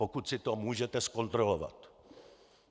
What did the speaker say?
Pokud si to můžete zkontrolovat.